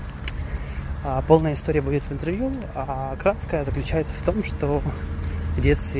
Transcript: а полная история будет центурион окраска заключается в том что